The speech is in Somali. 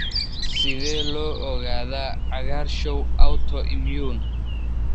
Sidee loo ogaadaa cagaarshow autoimmune?